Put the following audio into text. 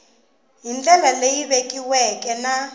hi ndlela leyi vekiweke na